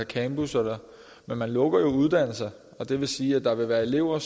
campus men man lukker jo uddannelser og det vil sige at der vil være elever